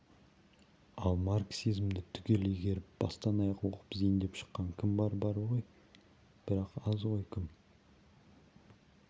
ал марксизмді түгел игеріп бастан-аяқ оқып зейіндеп шыққан кім бар бар ғой бірақ аз ғой кім